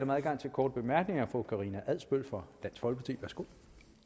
og når